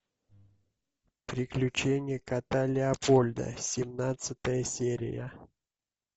приключения кота леопольда семнадцатая серия